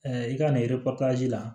i ka nin la